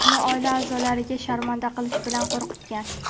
uni oila a’zolariga sharmanda qilish bilan qo‘rqitgan.